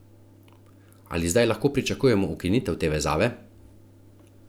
Ali zdaj lahko pričakujemo ukinitev te vezave?